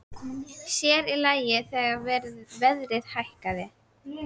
Sér í lagi þegar verðið hækkaði.